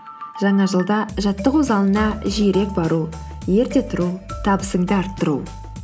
жаңа жылда жаттығу залына жиірек бару ерте тұру табысыңды арттыру